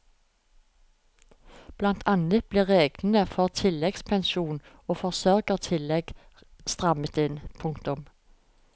Blant annet ble reglene for tilleggspensjon og forsørgertillegg strammet inn. punktum